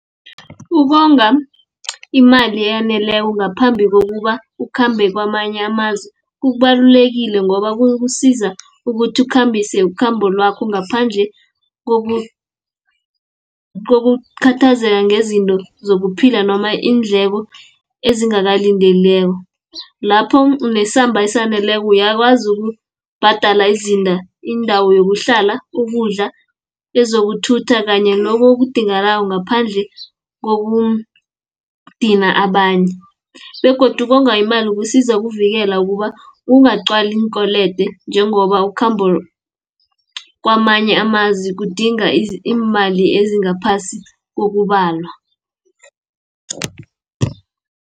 Ukonga imali eyaneleko, ngaphambi kokuba ukhambe kwamanye amazwe, kubalulekile ngoba kukusiza ukuthi ukhambise ukhambo lakho ngaphandle kokukhathazeka ngezinto zokuphila, noma iindleko ezingakalindeleko . Lapha unesamba esaneleko uyakwazi ukubhadala indawo yokuhlala, ukudla, ezokuthutha kanye loko okudingakalako ngaphandle kokudina abanye, begodu ukonga imali kusiza ukuvikela ukuba ungagcwali iinkwelede, njengoba ukhambo kwamanye amazwi kudinga iimali ezingaphasi kokubalwa..